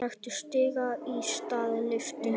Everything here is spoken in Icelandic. Taktu stiga í stað lyftu.